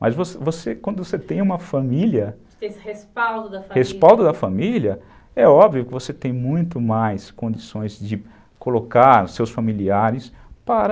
Mas você, você, quando você tem uma família, esse respaldo da família, respaldo da família, é óbvio que você tem muito mais condições de colocar os seus familiares para...